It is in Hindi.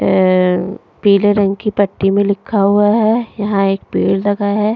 ए पीले रंग की पट्टी में लिखा हुआ है यहां एक पेड़ लगा है।